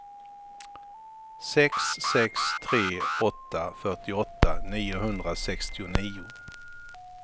sex sex tre åtta fyrtioåtta niohundrasextionio